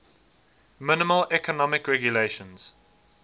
minimal economic regulations